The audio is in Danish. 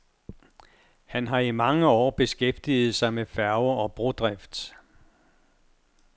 Han har i mange år beskæftiget sig med færge- og brodrift.